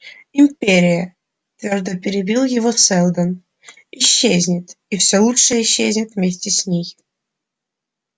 империя твёрдо перебил его сэлдон исчезнет и все лучшее исчезнет вместе с ней